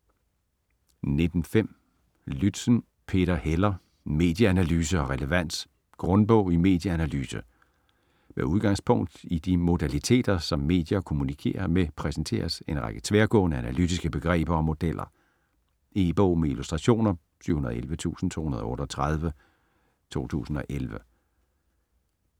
19.5 Lützen, Peter Heller: Medieanalyse og relevans: grundbog i medieanalyse Med udgangspunkt i de modaliteter som medier kommunikerer med præsenteres en række tværgående analytiske begreber og modeller. E-bog med illustrationer 711238 2011.